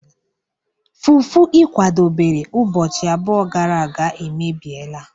Fufu ị kwadobere ụbọchị abụọ gara aga emebiela